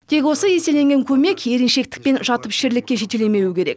тек осы еселенген көмек еріншектік пен жатыпішерлікке жетелемеуі керек